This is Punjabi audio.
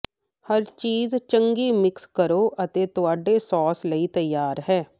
ਹਰ ਚੀਜ਼ ਚੰਗੀ ਮਿਕਸ ਕਰੋ ਅਤੇ ਤੁਹਾਡੇ ਸਾਸ ਲਈ ਤਿਆਰ ਹੈ